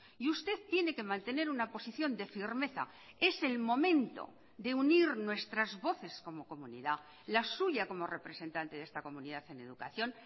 y usted tiene que mantener una posición de firmeza es el momento de unir nuestras voces como comunidad la suya como representante de esta comunidad en educación